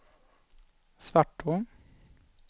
Svartå